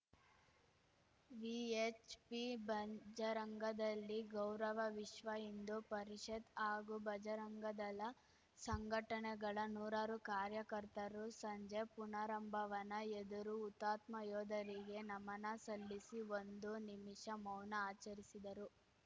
VHP ಬಂಜ್ಜರಂಗದಲ್ಲಿ ಗೌರವ ವಿಶ್ವ ಹಿಂದೂ ಪರಿಷತ್‌ ಹಾಗೂ ಬಜರಂಗದಳ ಸಂಘಟನೆಗಳ ನೂರಾರು ಕಾರ್ಯಕರ್ತರು ಸಂಜೆ ಪುನರಂಭವನ ಎದುರು ಹುತಾತ್ಮ ಯೋಧರಿಗೆ ನಮನ ಸಲ್ಲಿಸಿ ಒಂದು ನಿಮಿಷ ಮೌನ ಆಚರಿಸಿದರು